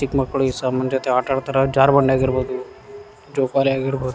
ಚಿಕ್ಕ್ ಮಕ್ಳು ಈ ಸಮಾನ್ ಜೊತೆ ಆಟ ಆಡ್ತಾರಾ ಜಾರಬಂಡಿಯಾಗಿರಬಹುದು ಜೋಕಾಲಿಯಾಗಿರಬಹುದು.